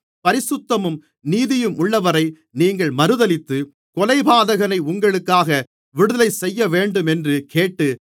பரிசுத்தமும் நீதியுமுள்ளவரை நீங்கள் மறுதலித்து கொலைபாதகனை உங்களுக்காக விடுதலை செய்யவேண்டுமென்று கேட்டு